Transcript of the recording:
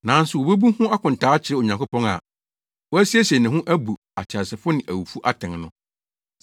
Nanso wobebu ho akontaa akyerɛ Onyankopɔn a wasiesie ne ho bu ateasefo ne awufo atɛn no.